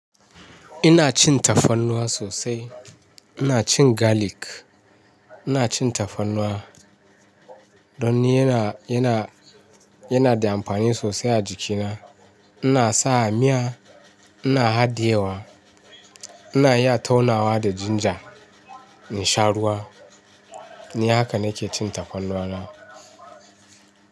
Ina cin tafarnuwa sosai. Ina cin garlic, ina cin tafarnuwa. Don ni yana da amfani sosai a jikina. Ina sawa a miya, ina haɗiyewa, ina iya taunawa da ginger in sha ruwa. Ni haka nake cin tafarnuwa na.